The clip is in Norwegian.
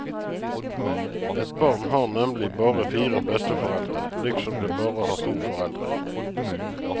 Et barn har nemlig bare fire besteforeldre, liksom det bare har to foreldre.